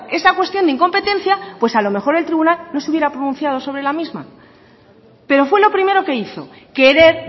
esa cuestión de incompetencia pues a lo mejor el tribunal no se hubiera pronunciado sobre la misma pero fue lo primero que hizo querer